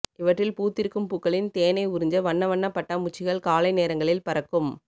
இவற்றில் பூத்திருக்கும் பூக்களில் இருக்கும் தேனை உறுஞ்ச வண்ணவண்ணப் பட்டாம்பூச்சிகள் காலை நேரங்களில் பறக்கும்